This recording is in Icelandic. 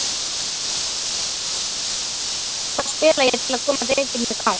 Hvað spila ég til að koma drengjunum í gang?